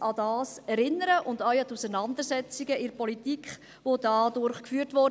aber auch an die Auseinandersetzungen, welche dadurch geführt wurden.